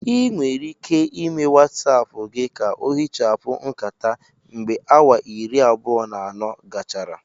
Ị nwere ike ịme Watsapu gị ka ohichapụ nkata mgbe awa iri abụọ na anọ gachara